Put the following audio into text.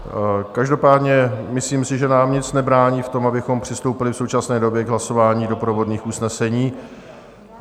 Každopádně myslím si, že nám nic nebrání v tom, abychom přistoupili v současné době k hlasování doprovodných usnesení.